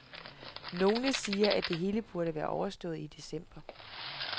Nogle siger, at det hele burde være overstået i december.